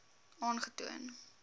aangetoon